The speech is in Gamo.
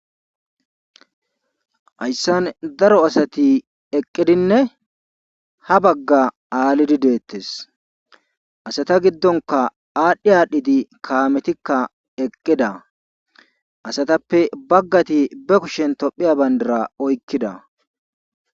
Hayssan daro asati eqqidinne ha bagga aalidi deetees. asata giddonkka adhi aadhidi kaametikka eqqida asatappe bagati ba kushen tophiya bandira oykkida